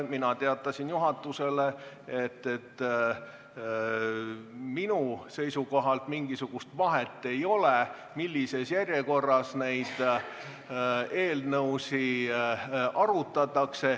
Mina teatasin juhatusele, et minu seisukohalt mingisugust vahet ei ole, millises järjekorras neid eelnõusid arutatakse.